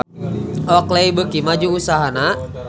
Oakley beuki maju usahana